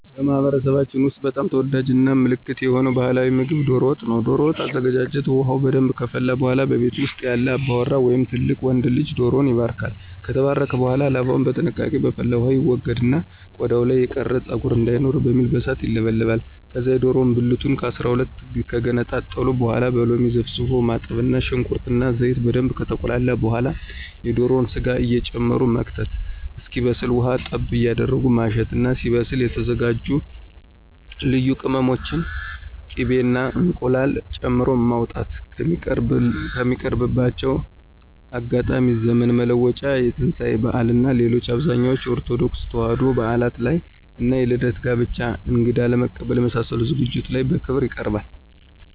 በማህበረሰባችን ውስጥ በጣም ተወዳጅ እና ምልክት የሆነ ባህላዊ ምግብ ዶሮ ወጥ ነው። ዶሮ ወጥ አዘገጃጀት ውሃው በደንብ ከፈላ በኃላ በቤት ውስጥ ያለ አባወራ ወይም ትልቅ ወንድ ልጅ ዶሮውን ይባርካል። ከተባረከ በኃላ ላባውን በጥንቃቄ በፈላው ውሃ ይወገድና ቆዳው ላይ የቀረ ፀጉር እንዳይኖር በሚል በእሳት ይለበለባል። ከዛ የዶሮውን ብልቱን ከ12 ከገነጣጠሉ በኃላ በሎሚ ዘፍዝፎ ማጠብ እና ሽንኩርት እና ዘይት በደንብ ከተቁላላ በኃላ የዶሮውን ስጋ እየጨመቁ መክተት እስኪበስል ውሃ ጠብ እያረጉ ማሸት እና ሲበስል የተዘጋጁ ልዩ ቅመሞችን፣ ቂቤ እና እንቁላል ጨምሮ ማውጣት። የሚቀርብባቸው አጋጣሚዎች ዘመን መለወጫ፣ የትንሳኤ በዓል እና ሌሎች አብዛኞቹ የኦርቶዶክስ ተዋሕዶ በዓላት ላይ እና የልደት፣ የጋብቻ፣ እንግዳ ለመቀበል የመሳሰሉት ዝግጅቶች ላይ በክብር ይቀርባል።